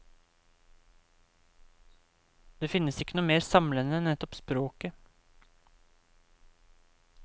Det finnes ikke noe mer samlende enn nettopp språket.